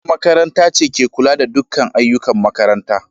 Shugabar makaranta ce ke kula da dukkan ayyukan makaranta.